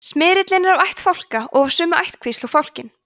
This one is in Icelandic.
smyrillinn er af ætt fálka og af sömu ættkvísl og fálkinn